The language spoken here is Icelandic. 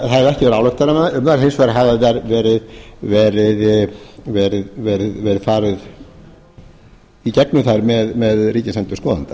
ekki verið að álykta um þær hins vegar hefur verið farið í gegnum þær með ríkisendurskoðanda